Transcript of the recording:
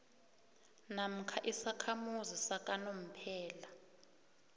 namkha isakhamuzi sakanomphela